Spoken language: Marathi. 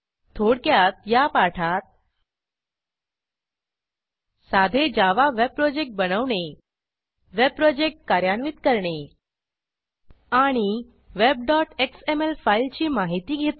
थोडक्यात या पाठात साधे जावा वेब प्रोजेक्ट बनवणे वेब प्रोजेक्ट कार्यान्वित करणे आणि webएक्सएमएल फाईलची माहिती घेतली